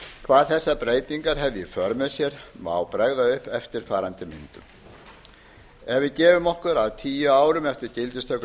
hvað þessar breytingar hefðu í för með sér má bregða upp eftirfarandi myndum ef við gefum okkur að tíu árum eftir gildistöku